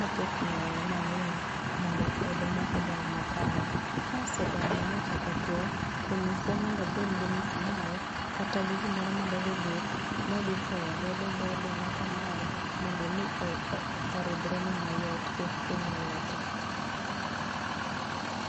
moketne manyiwa, mondo oduma odong makare. ka osedongo mochako two, to nyise mondo obed gi musmwal, kata gi gimoro ma dhoge bith, modhi chwoyo god dho oduma kamae mondo omo oridhrene mayot kik hiny lwete.